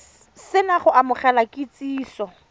se na go amogela kitsiso